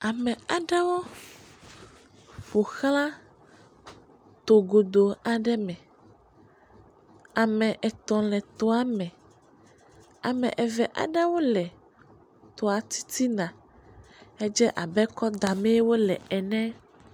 Ame aɖewo ƒo xla to godoo aɖe me, ame etɔ̃ aɖewo le etoa me, ame eve aɖewo le toa titina hedze abe kɔ damee wole ene.